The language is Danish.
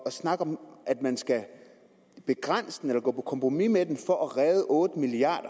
at snakke om at man skal begrænse den eller gå på kompromis med den for at redde otte milliard